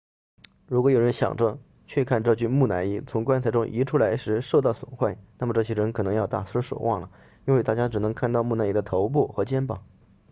如果有人想着去看这具木乃伊从棺材中移出来时受到损坏那么这些人可要大失所望了因为大家只能看到木乃伊的头部和肩膀